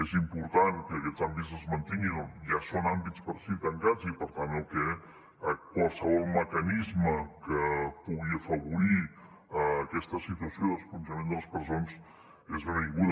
és important que aquests àmbits es mantinguin ja són àmbits per si tancats i per tant que qualsevol mecanisme que pugui afavorir aquesta situació d’esponjament de les presons és benvingut